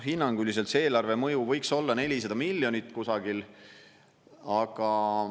Hinnanguliselt see eelarve mõju võiks olla 400 miljonit kusagil.